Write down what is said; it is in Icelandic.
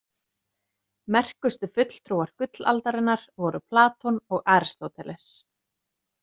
Merkustu fulltrúar gullaldarinnar voru Platon og Aristóteles.